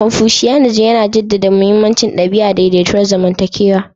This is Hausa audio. Confucianism, yana jaddada mahimmancin ɗabi'a, daidaituwar zamantakewa.